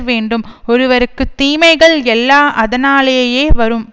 வேண்டும் ஒருவருக்கு தீமைகள் எல்லா அதனாலேயே வரும்